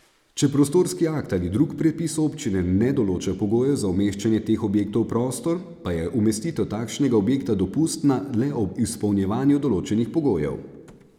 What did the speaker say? Če prostorski akt ali drug predpis občine ne določa pogojev za umeščanje teh objektov v prostor, pa je umestitev takšnega objekta dopustna le ob izpolnjevanju določenih pogojev.